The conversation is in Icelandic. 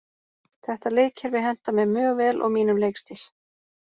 Þetta leikkerfi hentar mér mjög vel og mínum leikstíl.